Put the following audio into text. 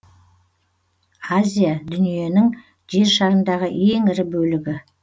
азия дүниеннің жер шарындағы ең ірі бөлігі